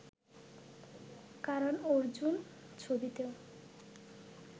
Karan Arjun ছবিতেও